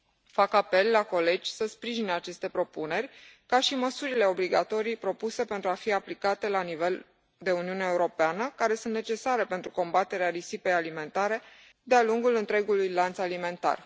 Fac apel la colegi să sprijine aceste propuneri, ca și măsurile obligatorii propuse pentru a fi aplicate la nivelul Uniunii Europene care sunt necesare pentru combaterea risipei alimentare de a lungul întregului lanț alimentar.